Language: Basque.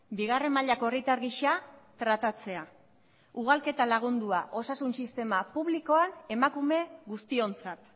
bigarren mailako herritar gisa tratatzea ugalketa lagundua osasun sistema publikoa emakume guztiontzat